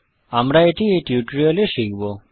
আমরা এটি এই টিউটোরিয়াল এ শিখব